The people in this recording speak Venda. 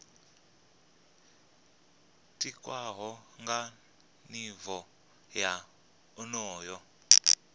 tikwaho nga nivho ya onoyo